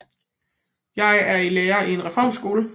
Jeg er lærer i en reform skole